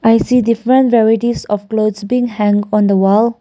i see different varieties of clothes being hang on the wall.